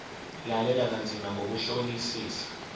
lalela kanzima ngokuhlolisisa